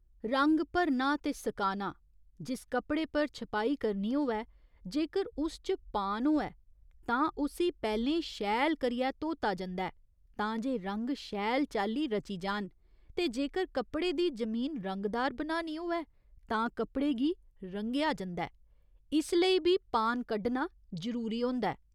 रंग भरना ते सकाना जिस कपड़े पर छपाई करनी होऐ जेकर उस च पान होऐ तां उस्सी पैह्‌लें शैल करियै धोता जंदा ऐ तां जे रंग शैल चाल्ली रची जान ते जेकर कपड़े दी जमीन रंगदार बनानी होऐ तां कपड़े गी रंगेआ जंदा ऐ इस लेई बी पान कड्ढना जरूरी होंदा ऐ।